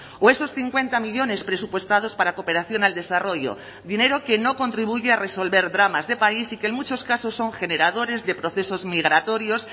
o esos cincuenta millónes presupuestados para cooperación al desarrollo dinero que no contribuye a resolver dramas de país y que en muchos casos son generadores de procesos migratorios